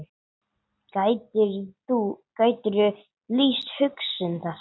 Gætirðu lýst hugsun þessa?